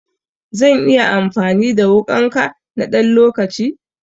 Zan iya amfani da wuƙanka na ɗan lokaci?